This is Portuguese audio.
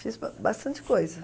Fiz bastante coisa.